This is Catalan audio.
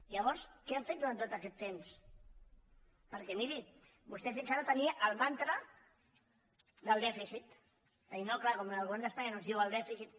llavors què han fet durant tot aquest temps perquè miri vostè fins ara tenia el mantra del dèficit de dir no clar com que el govern d’espanya no ens diu el dèficit